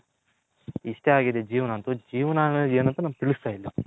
ಇಷ್ಟೇ ಆಗಿದೆ ಜೀವನ ಅಂತು ಜೀವನ ಅನ್ನೋದ್ ಏನಂಥ .